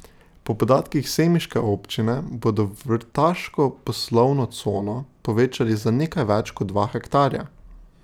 Po podatkih semiške občine bodo vrtaško poslovno cono povečali za nekaj več kot dva hektarja.